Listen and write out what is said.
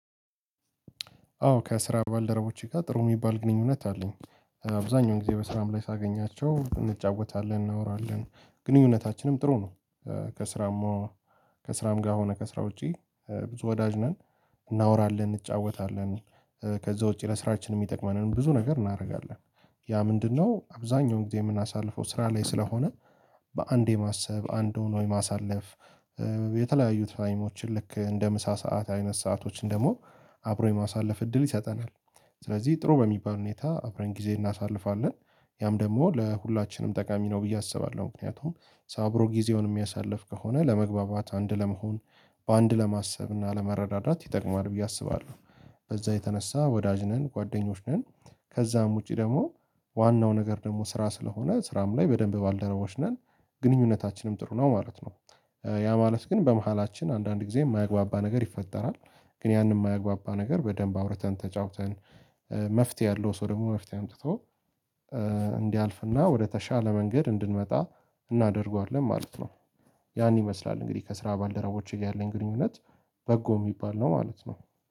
አዎ ከስራ ባልደረቦቼ ጋር ጥሩ የሚባል ግንኙነት አለኝ። አብዛኛው ጊዜ በስራም ላይ ሳገኛቸው እንጫወታለን እናወራለን ግንኙነታችንም ጥሩ ነው። ከስራማ ከስራም ጋር ሆነ ከስራ ውጪ ብዙ ወዳጅ ነን እናወራለን እንጫወታለን። ከዚያ ውጪ ለስራችን የሚጠቅመንን ብዙ ነገር እናደርጋለን። ያ ምንድነው አብዛኛውን ጊዜ የምናሳልፈው ስራ ላይ ስለሆነ በአንዴ ማሰብ አንዱን የማሳለፍ የተለያዩት ትይሞችን ልክ እንደ ምሳ ሰዓት አይነት ሰአቶችን ደግሞ አብሮ የማሳለፍ እድል ይሰጠናል። ስለዚህ ጥሩ በሚባል ሁኔታ አብረን ጊዜ እናሳልፋለን ያም ደግሞ ለሁላችንም ጠቃሚ ነው ብዬ አስባለሁ ምክንያቱም። አብሮ ጊዜውን የሚያሳልፍ ከሆነ ለመግባባት አንድ ለመሆን በአንድ ለማሰብ እና መረዳዳት ይጠቅማል ብዬ አስባለሁ። በዚያ የተነሳ ወዳጅ ነን ጓደኞች ነን። ከዛም ውጪ ደግሞ ዋናው ነገር ደግሞ ስራ ስለሆነ ስራም ላይ በደንብ ባልደረቦች ነን ግንኙነታችንም ጥሩ ነው ማለት ነው። ያ ማለት ግን በመሃላችን አንዳንድ ጊዜ የማያግባባ ነገር ይፈጠራል። ግን ያንን የማያግባባ ነገር በደንብ አውርተን ተጫውተን መፍትሄ ያለው ሰው ደግሞ መፍትሄ አምጥቶ እንዲያልፍና ወደተሻለ መንገድ እንድንመጣ እናደርገዋለን ማለት ነው። ያን ይመስላል እንግዲህ ከስራ ባልደረቦቼ ጋር ያለኝ ግንኙነት በጎ የሚባል ነው ማለት ነው